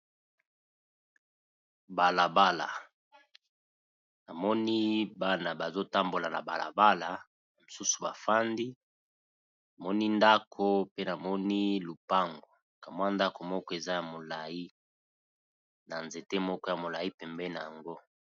Bala bala, na moni bana bazo tambola na bala bala, misusu ba fandi. Na moni ndako pe na moni lopango, ka mwa ndaku moko eza ya molayi, na nzete moko ya molayi pembeni na yango .